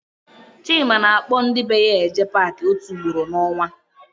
Chima na-akpọ ndị be ya eje Paakị ótù ugboro n'ọnwa.